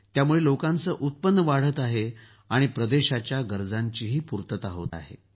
त्यामुळे लोकांचं उत्पन्न वाढत आहे आणि प्रदेशाच्या गरजांचीही पूर्तता होत आहे